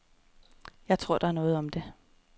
Jeg tror, at der er noget om det.